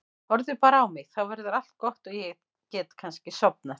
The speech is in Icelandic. Horfðu bara á mig, þá verður allt gott og ég get kannski sofnað.